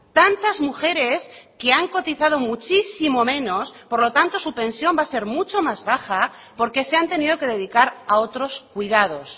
tantas mujeres que han cotizado muchísimo menos por lo tanto su pensión va a ser mucho más baja porque se han tenido que dedicar a otros cuidados